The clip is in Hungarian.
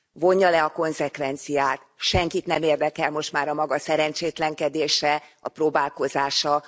Vonja le a konzekvenciát senkit nem érdekel most már a maga szerencsétlenkedése, a próbálkozása.